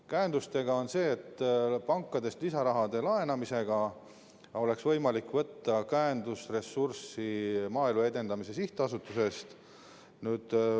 Käendustega on nii, et pankadest lisarahade laenamisega oleks võimalik võtta käendusressurssi Maaelu Edendamise Sihtasutusest.